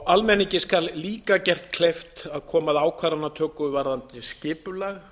almenningi skal líka gert kleift að koma að ákvarðanatöku varðandi skipulag